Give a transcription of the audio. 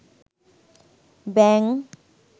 ব্যাঙ